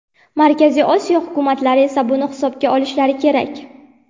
Markaziy Osiyo hukumatlari esa buni hisobga olishlari kerak.